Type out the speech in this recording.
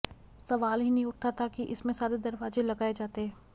सवाल ही नहीं उठता था कि इसमें सादे दरवाजे लगाए जाते